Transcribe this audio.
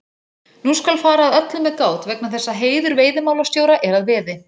Nú skal fara að öllu með gát vegna þess að heiður veiðimálastjóra er að veði.